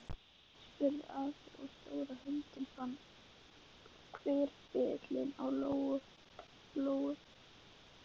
Ætlunin var að þau yrðu þarna aðeins til bráðabirgða.